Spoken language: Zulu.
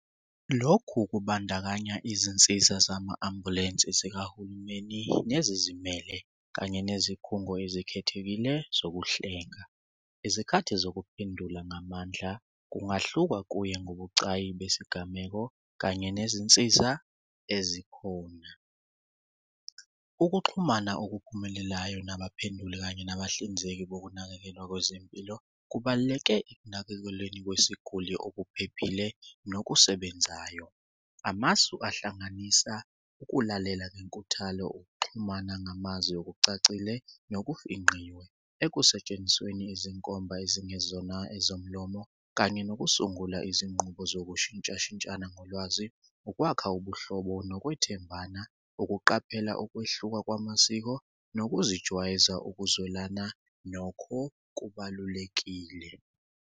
Lokhu kubandakanya izinsiza zama-ambulensi zikahulumeni nezizimele kanye nezikhungo ezikhethekile zokuhlenga. Izikhathi zokuphendula ngamandla kungahlukana kuye ngobucayi besigameko kanye nezinsiza ezikhona. Ukuxhumana okuphumelelayo nabaphenduli, kanye nabahlinzeki bokunakekelwa kwezempilo kubaluleke ekunakekelweni kwesiguli okuphephile nokusebenzayo. Amasu ahlanganisa ukulalela ngenkuthalo, ukuxhumana ngamazwi okucacile nokufinqiwe ekusentshenzisweni izinkomba ezingezona ezomlomo kanye nokusungula izinqubo zokushintshishintshana ngolwazi ukwakha ubuhlobo nokwethembana. Ukuqaphela ukwehluka kwamasiko, nokuzijwayeza ukuzwelana nokho kubalulekile.